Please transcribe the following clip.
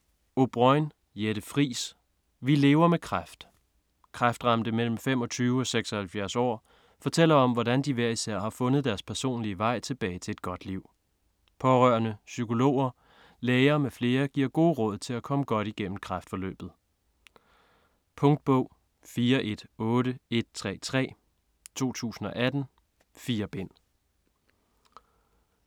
O'Brôin, Jette Friis: Vi lever med kræft Kræftramte mellem 25 og 76 år fortæller om, hvordan de hver især har fundet deres personlige vej tilbage til et godt liv. Pårørende, psykologer, læger m.fl. giver gode råd til at komme godt igennem kræftforløbet. Punktbog 418133 2018. 4 bind.